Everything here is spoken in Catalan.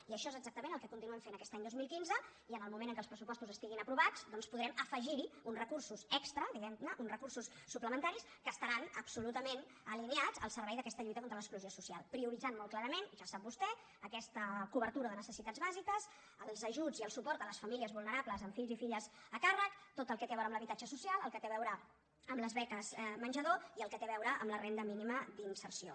i això és exactament el que continuem fent aquest any dos mil quinze i en el moment en què els pressupostos estiguin aprovats doncs podrem afegirhi uns recursos extra diguemne uns recursos suplementaris que estaran absolutament alineats al servei d’aquesta lluita contra l’exclusió social prioritzant molt clarament ja ho sap vostè aquesta cobertura de necessitats bàsiques els ajuts i el suport a les famílies vulnerables amb fills i filles a càrrec tot el que té a veure amb l’habitatge social el que té a veure amb les beques menjador i el que té a veure amb la renda mínima d’inserció